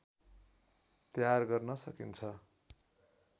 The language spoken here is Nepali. तयार गर्न सकिन्छ